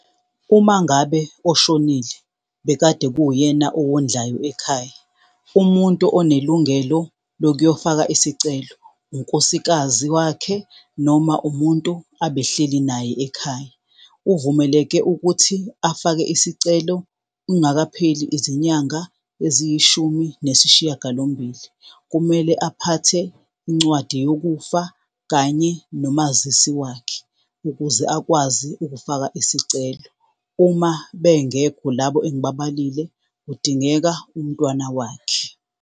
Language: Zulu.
Uma ngabe oshonile bekade kuwuyena owondlayo ekhaya, umuntu onelungelo lokuyofaka isicelo, unkosikazi wakhe noma umuntu abehleli naye ekhaya. Uvumeleke ukuthi afake isicelo kungakapheli izinyanga eziyishumi nesishiyagalombili. Kumele aphathe incwadi yokufa kanye nomazisi wakhe ukuze akwazi ukufaka isicelo. Uma bengekho labo engibabalile, kudingeka umntwana wakhe.